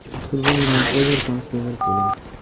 футбольный матч эвертон с ливерпулем